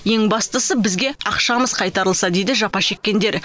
ең бастысы бізге ақшамыз қайтарылса дейді жапа шеккендер